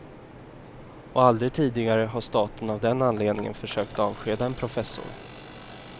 Och aldrig tidigare har staten av den anledningen försökt avskeda en professor.